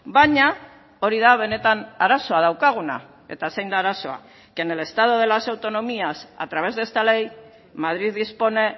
baina hori da benetan arazoa daukaguna eta zein da arazoa que en el estado de las autonomías a través de esta ley madrid dispone